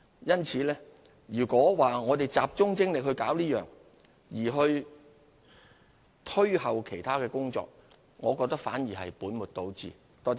因此，如果只集中精力處理此事，而押後其他工作，我認為反而是本末倒置。